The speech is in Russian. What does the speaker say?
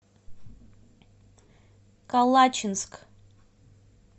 калачинск